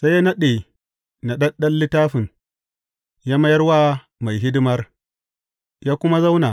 Sai ya naɗe naɗaɗɗen littafin ya mayar wa mai hidimar, ya kuma zauna.